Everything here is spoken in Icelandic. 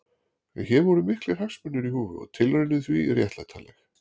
En hér voru miklir hagsmunir í húfi og tilraunin því réttlætanleg.